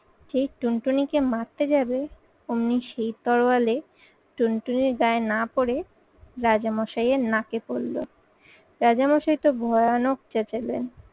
যেই টুনটুনিকে মারতে যাবে অমনি সেই তরোয়ালে টুনটুনির গায়ে না পরে রাজামশাই এর নাকে পরলো। রাজামশাই তো ভয়ানক চেচালেন।